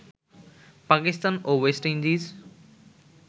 পাকিস্তান ও West Indies